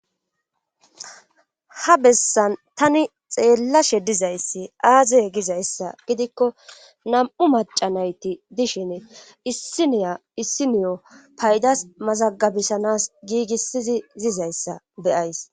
Ha bessan tani xeellashe dizayssi aazey gizayssa gidikko nam7u macanayti dishin issiniya issiniyo paydas mazagabisanas giigissizi zizayssa beyays.